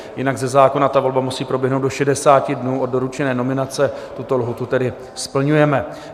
Jinak ze zákona ta volba musí proběhnout do 60 dnů od doručené nominace, tuto lhůtu tedy splňujeme.